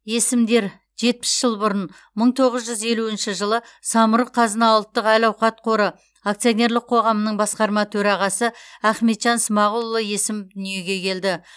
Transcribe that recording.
есімдер жетпіс жыл бұрын мың тоғыз жүз елуінші жылы самұрық қазына ұлттық әл ауқат қоры акционерлік қоғамының басқарма төрағасы ахметжан смағұлұлы есімов дүниеге келді